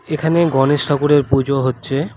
এখানে গণেশ ঠাকুরের পুজো হচ্ছে।